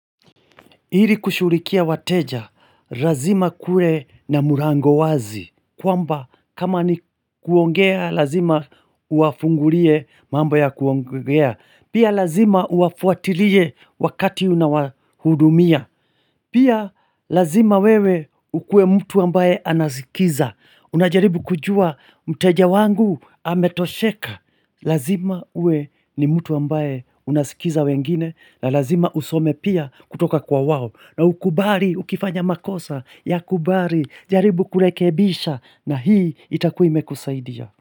Ili kushughulikia wateja, lazima kuwe na mlango wazi, kwamba kama ni kuongea, lazima uwafungulie mambo ya kuongea, pia lazima uwafuatilie wakati unawahudumia, pia lazima wewe ukue mtu ambaye anasikiza, unajaribu kujua mteja wangu ametosheka, lazima uwe ni mtu ambaye unasikiza wengine, na lazima usome pia kutoka kwa wao. Na ukubali ukifanya makosa yakubali jaribu kurekebisha na hii itakuwa imekusaidia.